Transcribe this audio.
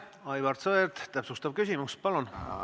Aivar Sõerd, täpsustav küsimus, palun!